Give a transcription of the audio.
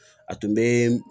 A tun bɛ